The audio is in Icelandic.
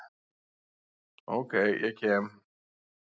Ok, ég kem.